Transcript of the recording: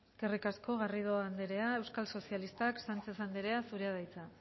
eskerrik asko garrido anderea euskal sozialistak sánchez anderea zurea da hitza